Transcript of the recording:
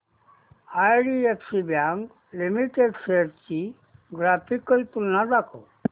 IDFC bank limited shares ची graphical तुलना दाखव